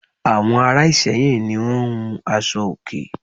Àwon Ara Ìsẹ́yìn ni won n hun aṣọ òkè